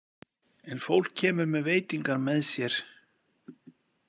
En fólk kemur með veitingar með sér.